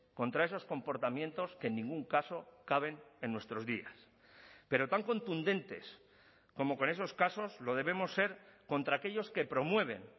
contra esos comportamientos que en ningún caso caben en nuestros días pero tan contundentes como con esos casos lo debemos ser contra aquellos que promueven